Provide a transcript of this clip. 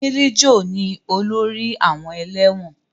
Milijo ni olórí àwọn ẹlẹ́wọ̀n